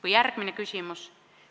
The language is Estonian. Või järgmine küsimus.